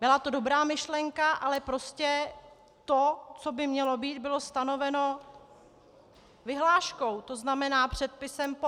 Byla to dobrá myšlenka, ale prostě to, co by mělo být, bylo stanoveno vyhláškou, to znamená předpisem po.